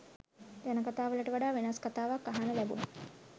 ජනකථා වලට වඩා වෙනස් කථාවක් අහන්න ලැබුණා